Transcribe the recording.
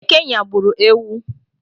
Eke nyagburu ewu